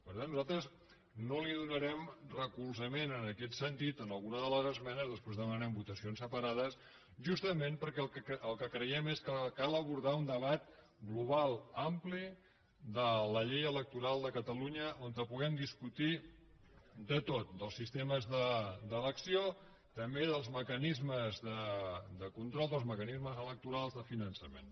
per tant nosaltres no donarem recolzament en aquest sentit a algunes de les esmenes després demanarem votacions separades justament perquè el que creiem és que cal abordar un debat global ampli de la llei electoral de catalunya on puguem discutir de tot dels sistemes d’elecció també dels mecanismes de control dels mecanismes electorals de finançament